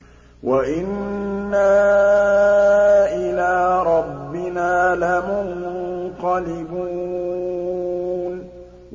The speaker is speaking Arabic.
وَإِنَّا إِلَىٰ رَبِّنَا لَمُنقَلِبُونَ